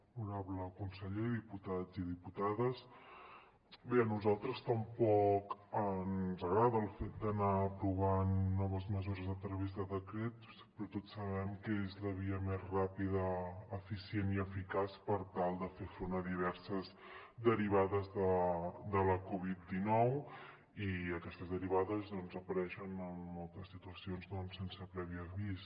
honorable conseller diputats i diputades bé a nosaltres tampoc ens agrada el fet d’anar aprovant noves mesures a través de decrets però tots sabem que és la via més ràpida eficient i eficaç per tal de fer front a diverses derivades de la covid dinou i aquestes derivades apareixen en moltes situacions doncs sense previ avís